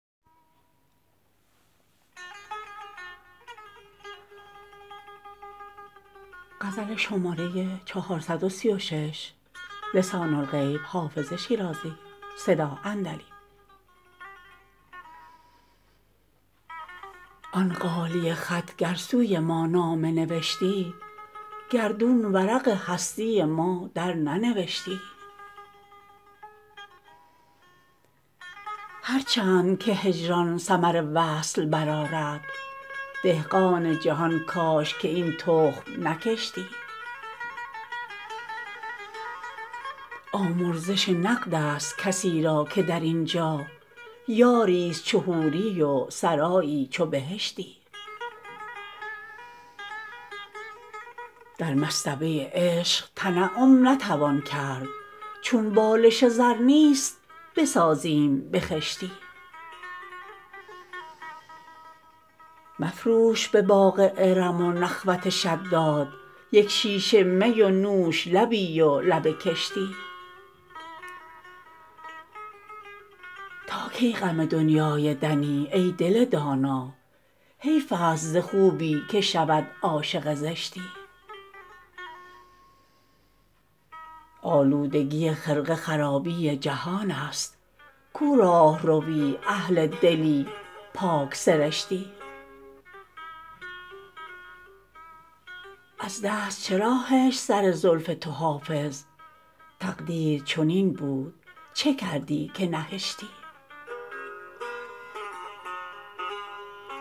آن غالیه خط گر سوی ما نامه نوشتی گردون ورق هستی ما درننوشتی هر چند که هجران ثمر وصل برآرد دهقان جهان کاش که این تخم نکشتی آمرزش نقد است کسی را که در این جا یاری ست چو حوری و سرایی چو بهشتی در مصطبه عشق تنعم نتوان کرد چون بالش زر نیست بسازیم به خشتی مفروش به باغ ارم و نخوت شداد یک شیشه می و نوش لبی و لب کشتی تا کی غم دنیای دنی ای دل دانا حیف است ز خوبی که شود عاشق زشتی آلودگی خرقه خرابی جهان است کو راهروی اهل دلی پاک سرشتی از دست چرا هشت سر زلف تو حافظ تقدیر چنین بود چه کردی که نهشتی